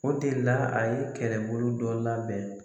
O de la a ye kɛrɛbolo dɔ labɛn.